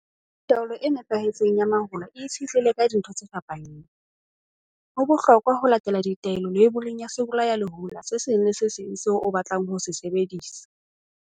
Taolo e nepahetseng ya mahola e itshetlehile ka dintho tse fapaneng. Ho bohlokwa ho latela ditaelo leiboleng ya sebolayalehola se seng le se seng seo o batlang ho se sebedisa.